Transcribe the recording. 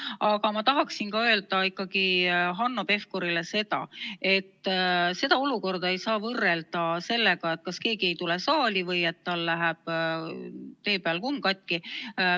Aga ma tahan öelda ikkagi Hanno Pevkurile, et seda olukorda ei saa võrrelda sellega, kui keegi ei tule saali või tal läheb tee peal kumm katki.